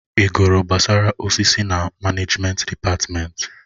Ị gụrụ gbasara osisi na manejment dịpatmenti?